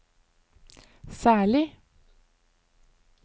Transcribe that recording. særlig